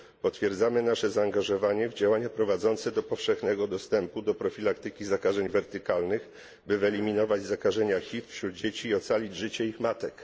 Potwierdzamy nasze zaangażowanie w działania prowadzące do powszechnego dostępu do profilaktyki zakażeń wertykalnych, by wyeliminować zakażenia HIV wśród dzieci i ocalić życie ich matek.